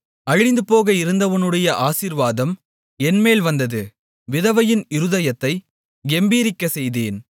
அழிந்துபோக இருந்தவனுடைய ஆசீர்வாதம் என்மேல் வந்தது விதவையின் இருதயத்தைக் கெம்பீரிக்கச் செய்தேன்